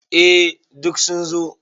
Eh duk sun zo.